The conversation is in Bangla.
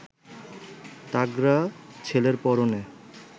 তাগড়া ছেলের পরনে